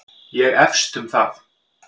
Ég efst um það